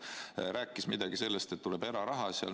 Ta rääkis midagi sellest, et tuleb eraraha.